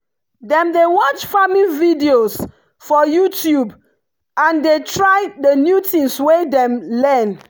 dem dey watch farming videos for youtube and dey try the new things wey dem learn.